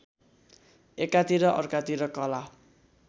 एकातिर अर्कातिर कला